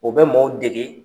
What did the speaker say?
O bɛ mɔgɔw degege.